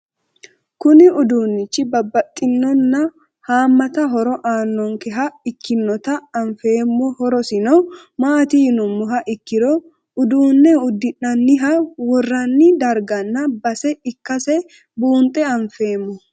Kuni udunichi babaxinona haamata horo aanonkeha ikinota anfemo hoorosino mati yinumoha ikiro udune udina'ninha worani dargana base ikase bunxe afeemo?